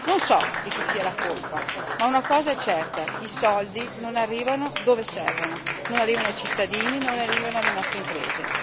Non so di chi sia la colpa, ma una cosa è certa i soldi non arrivano devo servono, non arrivano ai cittadini, non arrivano alle nostre imprese.